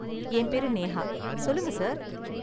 என் பேரு நேஹா, சொல்லுங்க சார்.